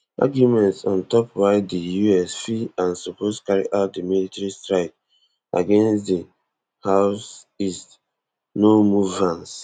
arguments on top why di us fit and suppose carry out di military strike against di houthis no move vance